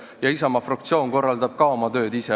Ka Isamaa fraktsioon korraldab oma tööd ise.